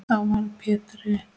Þá varð Pétri